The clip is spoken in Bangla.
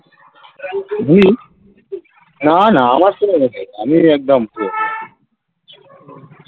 . না না আমার কোনো ইয়ে নেই আমি একদম পুরো